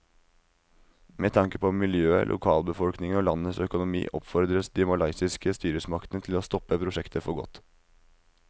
Med tanke på miljøet, lokalbefolkningen og landets økonomi oppfordres de malaysiske styresmaktene til å stoppe prosjektet for godt.